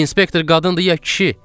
İnspektor qadındır ya kişi?